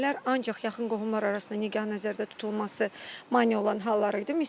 Əvvəllər ancaq yaxın qohumlar arasında nikah nəzərdə tutulması mane olan hallar idi.